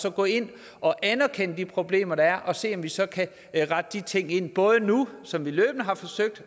og går ind og anerkender de problemer der er og ser om vi så kan rette de ting både nu som vi løbende har forsøgt